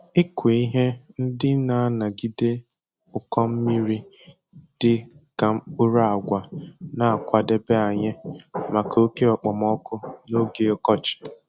Ịkụ ihe ndị na-anagide ụkọ mmiri dị ka mkpụrụ agwa na-akwadebe anyị maka oke okpomọkụ n'oge ọkọchị